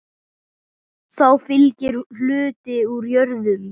Þá fylgir hluti úr jörðum.